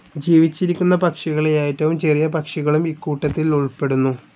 ജീവിച്ചിരിക്കുന്ന പക്ഷികളിൽ ഏറ്റവും ചെറിയ പക്ഷികളും ഇക്കൂട്ടത്തിൽ ഉൾപ്പെടുന്നു.